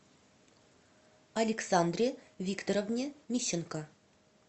александре викторовне мищенко